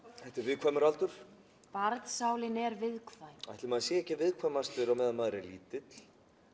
þetta er viðkvæmur aldur er viðkvæm ætli maður sé ekki viðkvæmastur á meðan maður er lítill